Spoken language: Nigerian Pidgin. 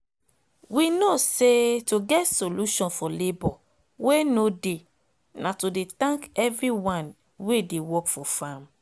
we know say to get solution for labor wey nor dey na to de thank everyone wey dey work for farm